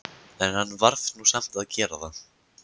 En hann varð nú samt að gera það.